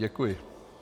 Děkuji.